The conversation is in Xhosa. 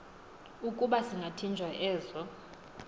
ukuba zingathinjwa ezo